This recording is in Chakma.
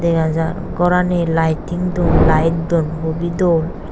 dega jar gorani lighting dhon light dhon hubeh dol.